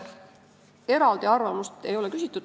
Eraldi arvamust ei ole küsitud.